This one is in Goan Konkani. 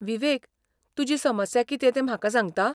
विवेक, तुजी समस्या कितें तें म्हाका सांगता?